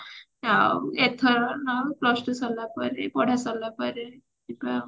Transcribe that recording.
ଆଉ ଏଥର ନହେଲେ plus two ସରିଲା ପରେ ପଢା ସରିଲା ପରେ ଯିବା ଆଉ